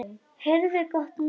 Heyrðu gott mál.